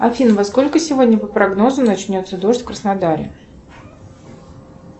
афина во сколько сегодня по прогнозу начнется дождь в краснодаре